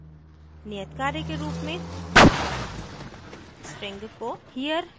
नियतकार्य के रूप में string को